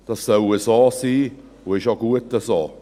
Das soll so sein und ist auch gut so.